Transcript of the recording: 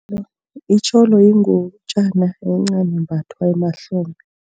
Itjholo yingutjana encani embathwa emahlombe.